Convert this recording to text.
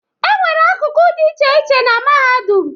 E nwere akụkụ dị iche iche na Mahadum